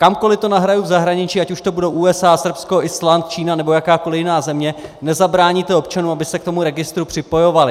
Kamkoli to nahraju v zahraničí, ať už to budou USA, Srbsko, Island, Čína nebo jakákoli jiná země, nezabráníte občanům, aby se k tomu registru připojovali.